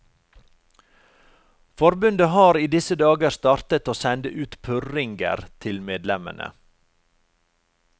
Forbundet har i disse dager startet å sende ut purringer til medlemmene.